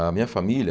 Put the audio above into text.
A minha família